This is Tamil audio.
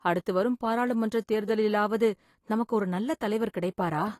அடுத்து வரும் பாராளுமன்ற தேர்தலிலாவது நமக்கு ஒரு நல்ல தலைவர் கிடைப்பாரா?